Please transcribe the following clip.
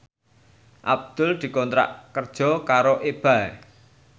Abdul dikontrak kerja karo Ebay